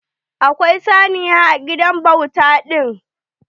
Akwai saniya a gidan bauta ɗin.